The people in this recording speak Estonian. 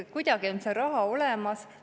Kuidagi on see raha olemas.